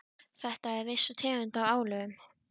Þetta er viss tegund af álögum.